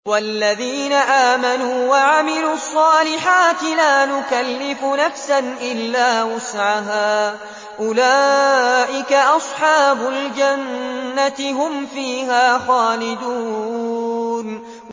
وَالَّذِينَ آمَنُوا وَعَمِلُوا الصَّالِحَاتِ لَا نُكَلِّفُ نَفْسًا إِلَّا وُسْعَهَا أُولَٰئِكَ أَصْحَابُ الْجَنَّةِ ۖ هُمْ فِيهَا خَالِدُونَ